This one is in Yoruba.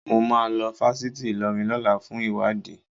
Mo máa lọ fásitì Ìlọrin lọ́la fún ìwádìí